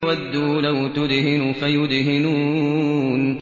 وَدُّوا لَوْ تُدْهِنُ فَيُدْهِنُونَ